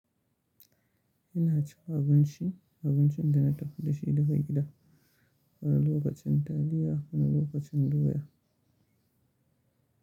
Ina cika abinci, abincin da na tafi da shi daga gida, wani lokacin taliya wani lokacin doya.